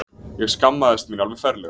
Ég skammaðist mín alveg ferlega.